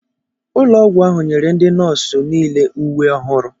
Ụlọ ọgwụ ahụ nyere ndị nọọsụ niile uwe ọhụrụ.